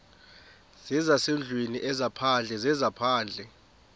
zezasendlwini ezaphandle zezaphandle